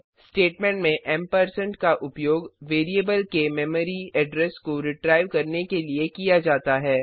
statement में ampersand का उपयोग वेरिएबल के मेमरी एड्रेस को रिट्राइव करने के लिए किया जाता है